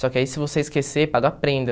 Só que aí se você esquecer, paga a prenda.